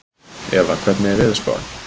Eva, hvernig er veðurspáin?